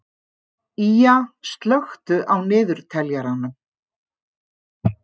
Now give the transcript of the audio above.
Ýja, slökktu á niðurteljaranum.